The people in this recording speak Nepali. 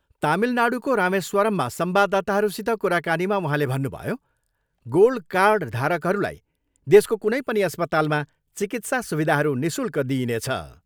तामिलनाडुको रामेश्वरममा संवाददाताहरूसित कुराकानीमा उहाँले भन्नुभयो, गोल्ड कार्ड धारकहरूलाई देशको कुनै पनि अस्पतालमा चिकित्सा सुविधाहरू निशुल्क दिइनेछ।